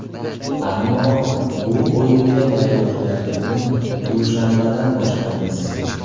Ammo bu o‘yinga tayyorgarlikni dushanbadan boshlaymiz.